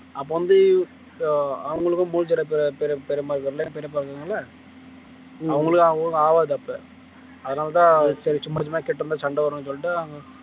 அப்ப வந்து அவங்களுக்கும் மூச்சிரைப்பு அவங்களுக்கு ஒண்ணும் ஆவாது அப்ப அதனாலதான் சரி சும்மா சும்மா கிட்ட இருந்தா சண்டை வரும்னு சொல்லிட்டு